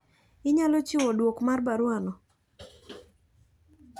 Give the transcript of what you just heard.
Inyalo chiwo duok mar baruwa no.